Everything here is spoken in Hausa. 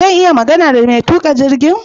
Zan iya magana da mai tuka jirgin?